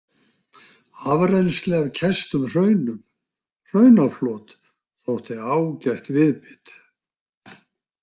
Afrennsli af kæstum hraunum, hraunaflot, þótti ágætt viðbit.